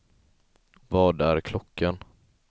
Vad är klockan